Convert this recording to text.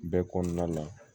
Bɛɛ kɔnɔna la